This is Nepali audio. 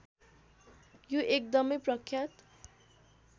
यो एकदमै प्रख्यात